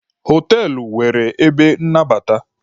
Họtelụ nwere ebe nnabata.